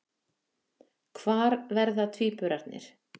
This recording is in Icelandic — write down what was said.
Hvar verða tvíburarnir?